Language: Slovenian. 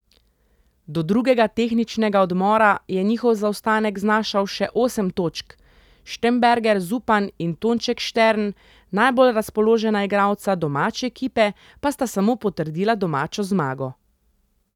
Do drugega tehničnega odmora je njihov zaostanek znašal še osem točk, Štembergar Zupan in Tonček Štern, najbolj razpoložena igralca domače ekipe pa sta samo potrdila domačo zmago.